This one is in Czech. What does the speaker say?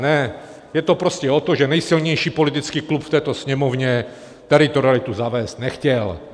Ne, je to prostě o tom, že nejsilnější politický klub v této Sněmovně teritorialitu zavést nechtěl.